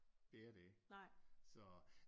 Det er det ikke så